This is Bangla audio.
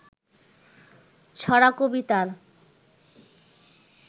ছড়া কবিতার